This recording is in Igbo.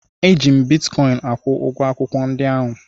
Eji m bitkọịn akwụ ụgwọ akwụkwọ ndi ahụ.